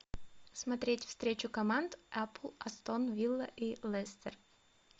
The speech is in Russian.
смотреть встречу команд апл астон вилла и лестер